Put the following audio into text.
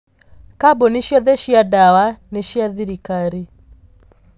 Kambuni ciothe cia ndawa nĩ cia thirikari.